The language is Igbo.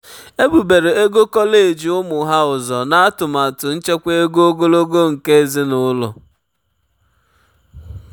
ebubere ego kọleji ụmụ ha ụzọ na atụmatụ nchekwa ego ogologo oge nke ezinụlọ.